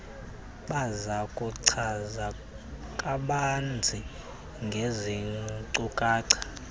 bazakuchaza kabanzi ngeezinkcukacha